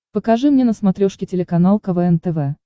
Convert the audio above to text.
покажи мне на смотрешке телеканал квн тв